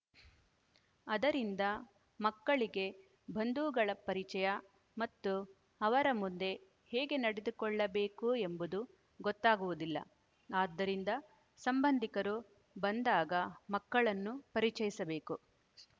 ಅದರಿಂದ ಮಕ್ಕಳಿಗೆ ಬಂಧುಗಳ ಪರಿಚಯ ಮತ್ತು ಅವರ ಮುಂದೆ ಹೇಗೆ ನಡೆದುಕೊಳ್ಳಬೇಕು ಎಂಬುದು ಗೊತ್ತಾಗುವುದಿಲ್ಲ ಆದ್ದರಿಂದ ಸಂಬಂಧಿಕರು ಬಂದಾಗ ಮಕ್ಕಳನ್ನು ಪರಿಚಯಿಸಬೇಕು